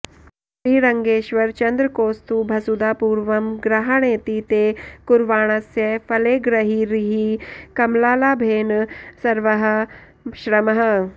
श्रीरङ्गेश्वर चन्द्रकौस्तुभसुधापूर्वं गृहाणेति ते कुर्वाणस्य फलेग्रहिर्हि कमलालाभेन सर्वः श्रमः